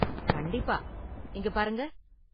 கண்டிப்பா, இங்க பாருங்க.